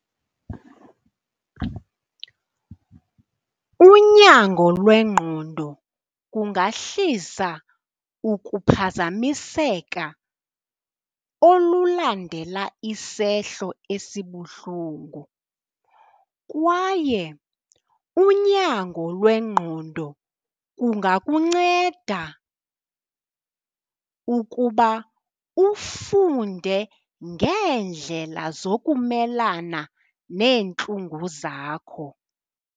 Unyango lwengqondo kungahlisa ukuphazamiseka olulandela isehlo esibuhlungu, kwaye unyango lwengqondo kungakunceda ukuba ufunde ngeendlela zokumelana neentlungu zakho.